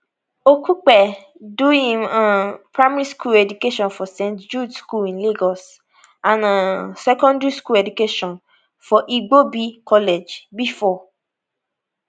okupe do im um primary school education for st jude school in lagos and um secondary school education for igbobi college bifor